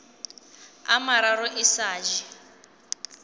a mararo e sa je